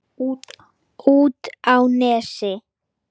Út á Nesi?